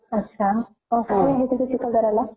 अच्छा मग तुम्ही कधी गेले होता चिखलधाराला?